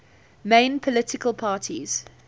main political parties